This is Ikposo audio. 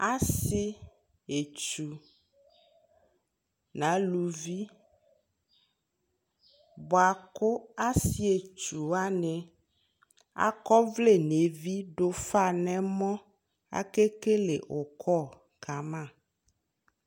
Asi etsu nʋ alʋvi bua kʋ asietsuwa akɔvlɛ nʋ evi dʋfa nʋ ɛmɔ akekele ʋkɔ kama